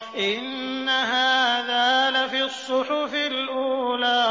إِنَّ هَٰذَا لَفِي الصُّحُفِ الْأُولَىٰ